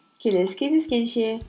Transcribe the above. келесі кездескенше